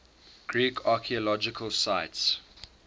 greek archaeological sites